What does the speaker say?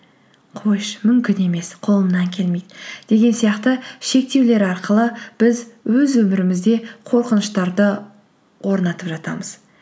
қойшы мүмкін емес қолымнан келмейді деген сияқты шектеулер арқылы біз өз өмірімізде қорқыныштарды орнатып жатамыз